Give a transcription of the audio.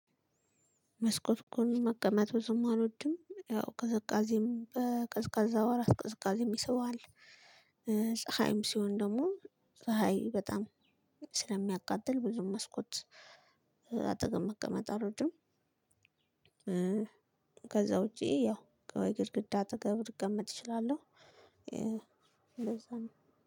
መስኮት ጎን መቀመጥ ብዙም አልወድም ያው ቅዝቃዜም በቀዝቃዛ ወራት ቅዝቃዜም ይስባል። ፀሀይም ሲሆን ደግሞ ፀሀይ በጣም ስለሚያቃጥል ብዙም መስኮት አጠገብ መቀመጥ አልወድም። ከዛ ውጭ ያው ከግድግዳ አጠገብ ልቀመጥ እችላለሁ። እንደዛ ነው